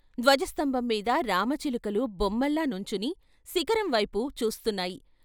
ధ్వజ స్తంభం మీద రామ చిలుకలు బొమ్మల్లా నుంచుని శిఖరం వైపు చూస్తున్నాయి.